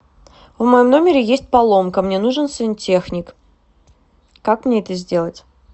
в моем номере есть поломка мне нужен сантехник как мне это сделать